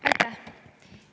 Aitäh!